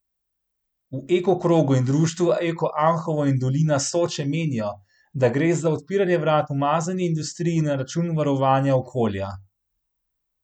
V Eko krogu in društvu Eko Anhovo in dolina Soče menijo, da gre za odpiranje vrat umazani industriji na račun varovanja okolja.